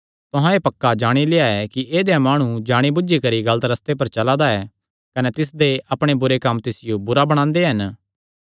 तुहां एह़ पक्का जाणी लेआ कि ऐदेया माणु जाणी बुझी करी गलत रस्ते पर चला दा ऐ कने तिसदे अपणे बुरे कम्म तिसियो बुरा बणांदे हन